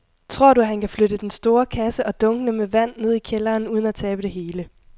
Tror du, at han kan flytte den store kasse og dunkene med vand ned i kælderen uden at tabe det hele?